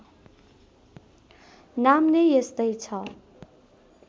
नाम नै त्यस्तै छ